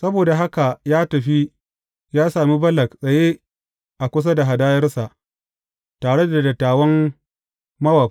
Saboda haka ya tafi ya same Balak tsaye a kusa da hadayarsa, tare da dattawan Mowab.